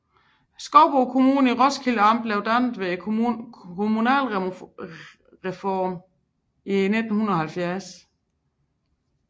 Skovbo Kommune i Roskilde Amt blev dannet ved kommunalreformen i 1970